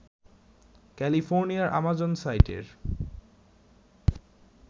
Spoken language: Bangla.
ক্যালিফোর্নিয়ার আমাজন সাইটের